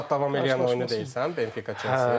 Səkkiz saat davam edən oyunu deyirsən, Benfica-Chelsea?